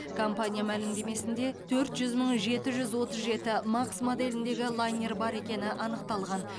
компания мәлімдемесінде төрт жүз мың жеті жүз отыз жеті макс моделіндегі лайнер бар екені анықталған